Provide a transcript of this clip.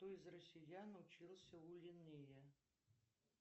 кто из россиян учился у линнея